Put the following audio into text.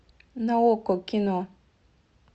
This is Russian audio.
на окко кино